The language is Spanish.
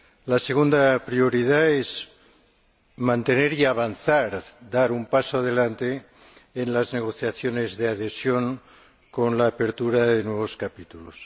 La segunda prioridad es mantener y avanzar, dar un paso adelante en las negociaciones de adhesión con la apertura de nuevos capítulos.